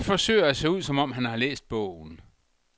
Han forsøger at se ud, som om han har læst bogen.